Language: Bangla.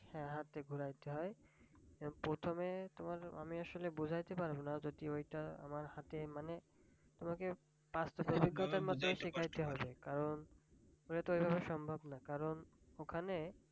হ্যাঁ হাত দিয়ে ঘোরাতে হয় প্রথমে তোমার আমি আসলে বুঝাইতে পারবো না যদিও ওইটা আমার হাতে মানে তোমাকে বাস্তব অভিজ্ঞতার মধ্যে দিয়ে শিখতে হবে কারণ ওইভাবে তো সম্ভব না কারণ ওখানে